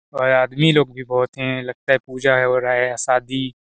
और आदमी लोग भी बहुत है लगता है पूजा हो रहा है शादी--